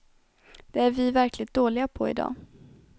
Det är vi verkligt dåliga på i dag.